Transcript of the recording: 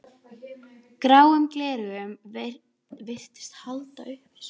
Gráum gleraugum virtist haldið upp að sólinni.